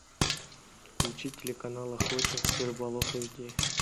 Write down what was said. включи телеканал охотник и рыболов эйчди